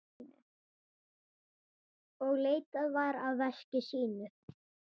Og leitaði að veski sínu.